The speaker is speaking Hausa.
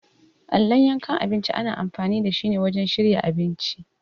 Allon yankan abinci ana amfani dashi ne wajen shirya abinci.